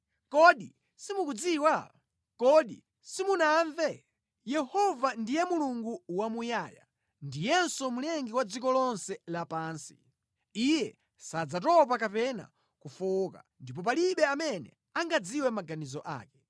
Kodi simukudziwa? Kodi simunamve? Yehova ndiye Mulungu wamuyaya, ndiyenso Mlengi wa dziko lonse lapansi. Iye sadzatopa kapena kufowoka ndipo palibe amene angadziwe maganizo ake.